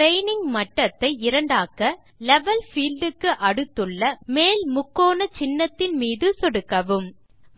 training மட்டத்தை 2 ஆக்க level field க்கு அடுத்துள்ள மேல் முக்கோண சின்னத்தின் மீது சொடுக்கவும்